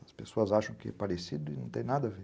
As pessoas acham que é parecido e não tem nada a ver.